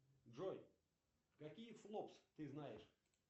джой какие флопс ты знаешь